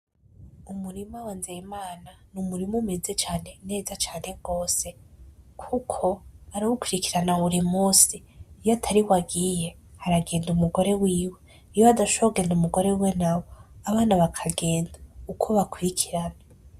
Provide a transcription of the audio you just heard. Umurima wa Nzeyimana ni umurima umeze cane neza cane gose kuko arawukurikirana buri munsi, iyo atariwe agiye haragenda umugore wiwe, iyo hadashobora kugenda umugore wiwe nawe abana bakagenda uko bakurikirana.